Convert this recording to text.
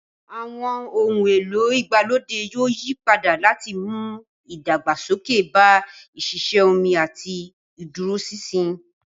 Àwọn ohun èlò ìgbàlódé yóò yí padà láti mú ìdàgbàsókè bá ìṣiṣẹ́ omi àti ìdúróṣinṣin.